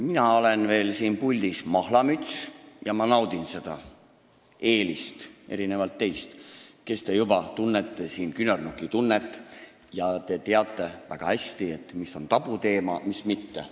Mina olen siin puldis veel mahlamüts ja ma naudin seda eelist, erinevalt teist, kes te tunnete siin juba küünarnukitunnet ja teate väga hästi, mis on tabuteema ja mis mitte.